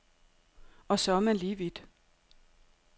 Og så er man lige vidt.